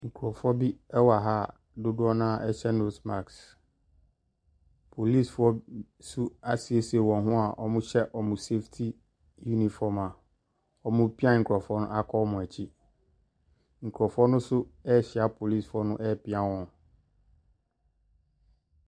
Nkurɔfoɔ bi wɔ ha a dodoɔ no ara hyɛ nose mask. Polisifoɔ b nso asiesie wɔn ho a wɔhyɛ wɔn saftey uniform a wɔrepia nkurɔfoɔ no akɔ wɔn akyi. Nkurɔfoɔ no nso rehyia polisifoɔ no repia wɔn.